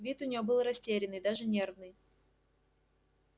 вид у неё был растерянный даже нервный